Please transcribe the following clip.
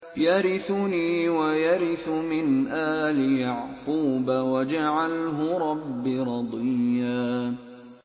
يَرِثُنِي وَيَرِثُ مِنْ آلِ يَعْقُوبَ ۖ وَاجْعَلْهُ رَبِّ رَضِيًّا